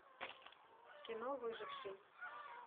кино выживший